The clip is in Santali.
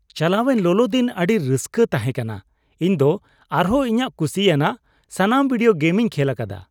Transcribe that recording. ᱪᱟᱞᱟᱣᱮᱱ ᱞᱚᱞᱚ ᱫᱤᱱ ᱟᱹᱰᱤ ᱨᱟᱹᱥᱠᱟᱹ ᱛᱟᱦᱮᱠᱟᱱᱟ ᱾ ᱤᱧ ᱫᱚ ᱟᱨᱦᱚᱸ ᱤᱧᱟᱜ ᱠᱩᱥᱤᱭᱟᱜ ᱥᱟᱱᱟᱢ ᱵᱷᱤᱰᱤᱭᱳ ᱜᱮᱢᱤᱧ ᱠᱷᱮᱞ ᱟᱠᱟᱫᱟ ᱾